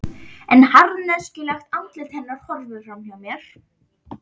En harðneskjulegt andlit hennar horfir fram hjá mér.